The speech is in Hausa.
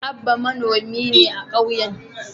Abba manomi ne a kauyen.